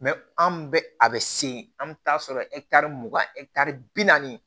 an bɛ a bɛ se an bɛ taa sɔrɔ mugan bi naani